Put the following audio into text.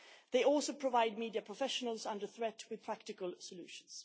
They also provide media professionals under threat with practical solutions.